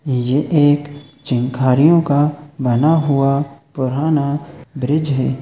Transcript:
ये एक चिनखारियों का बना हुआ पुराना ब्रिज हैं।